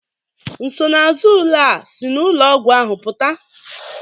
Nsonaazụ ule a si na ụlọọgwụ ahụ pụta?